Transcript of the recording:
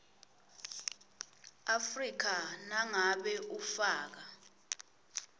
afrika nangabe ufaka